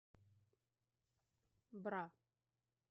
бра